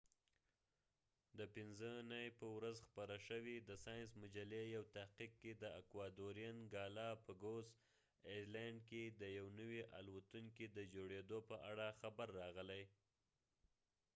د پنځه نی په ورځ خپره شوی د ساینس مجلی یو تحقیق کی د اکوادورین ګالا پګوس ایسلنډ کی د یو نوی الوتونکی د جوړیدو په اړه خبر راغلی